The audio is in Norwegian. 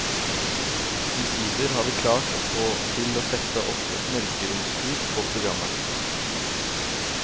Omsider har vi klart å få til å sette opp et mørkeromskurs på programmet.